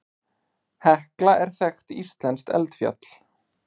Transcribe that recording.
Hekla er þekkt íslenskt eldfjall.